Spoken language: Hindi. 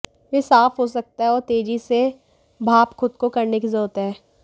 वे साफ हो सकता है और तेजी से भाप खुद को करने की जरूरत है